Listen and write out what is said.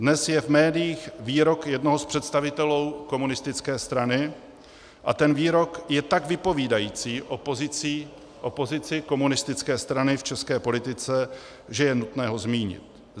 Dnes je v médiích výrok jednoho z představitelů komunistické strany a ten výrok je tak vypovídající o pozici komunistické strany v české politice, že je nutné ho zmínit.